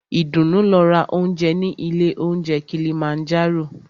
Ìdùnú lọ ra óúnjẹ ní ilé óunjẹ Kilimanjaro.